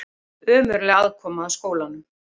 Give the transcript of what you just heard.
Ömurleg aðkoma að skólanum